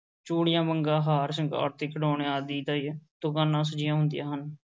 ਚੂੜੀਆਂ, ਵੰਗਾਂ, ਹਾਰ-ਸ਼ਿੰਗਾਰ ਤੇ ਖਿਡੌਣਿਆਂ ਆਦਿ ਦੀਆਂ ਦੁਕਾਨਾਂ ਸਜੀਆਂ ਹੁੰਦੀਆਂ ਹਨ।